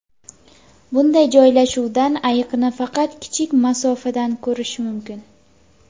Bunday joylashuvdan ayiqni faqat kichik masofadan ko‘rish mumkin.